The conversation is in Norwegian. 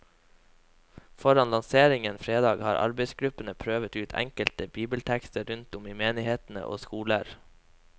Foran lanseringen fredag har arbeidsgruppen prøvet ut enkelte bibeltekster rundt om i menigheter og skoler.